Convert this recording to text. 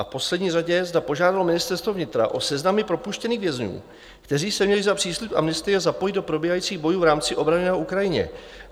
A v poslední řadě, zda požádalo Ministerstvo vnitra o seznamy propuštěných vězňů, kteří se měli za příslib amnestie zapojit do probíhajících bojů v rámci obrany na Ukrajině?